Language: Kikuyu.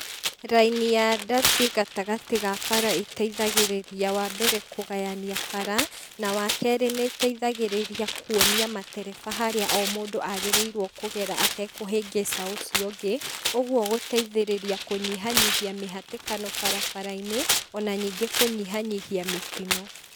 Rainĩ ya ndathi gatagatĩ ga bara ĩteithagĩrĩria wa mbere kũgayania bara, na wakerĩ nĩiteithagĩrĩria kuonia madereba harĩa o mũndũ agĩrĩirwo kũgera atekũhĩngĩca ũcio ũngĩ, ũguo gũteithĩrĩria kũnyihanyihia mĩhatĩkano barabarainĩ, ona ningĩ kũnyihanyihia mĩtino.